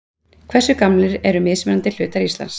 Hversu gamlir eru mismunandi hlutar Íslands?